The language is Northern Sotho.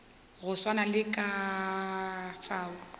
go swana le ka fao